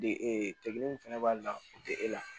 De ee min fana b'a la o tɛ e la